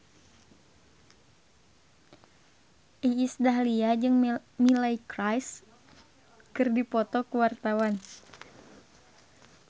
Iis Dahlia jeung Miley Cyrus keur dipoto ku wartawan